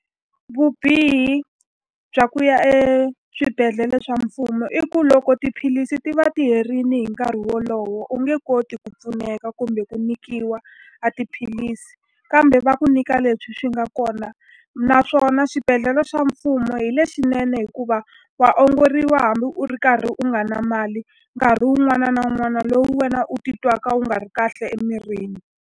Vubihi bya ku ya eswibedhlele swa mfumo i ku loko tiphilisi ti va ti herile hi nkarhi wolowo u nge koti ku pfuneka kumbe ku nyikiwa a tiphilisi, kambe va ku nyika leswi swi nga kona. Naswona swibedhlele swa mfumo hi lexinene hikuva wa ongoriwa hambi u ri karhi u nga na mali, nkarhi wun'wana na wun'wana lowu wena u ti twaka wu nga ri kahle emirini.